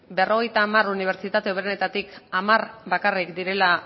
berrogeita hamar unibertsitate hoberenetatik hamar bakarrik direla